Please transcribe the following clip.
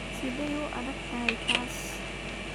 Sideey u adag tahay taas?